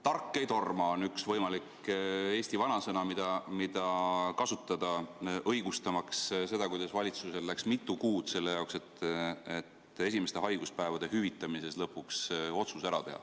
Tark ei torma, on üks võimalik eesti vanasõna, mida kasutada, õigustamaks seda, miks valitsusel läks mitu kuud selle jaoks, et esimeste haiguspäevade hüvitamise otsus lõpuks ära teha.